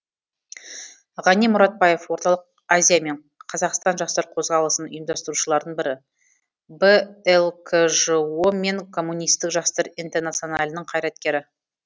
ғани мұратбаев орталық азия мен қазақстан жастар қозғалысын ұйымдастырушылардың бірі блкжо мен коммунистік жастар интернационалының қайраткері